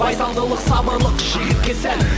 байсалдылық сабырлық жігітке сән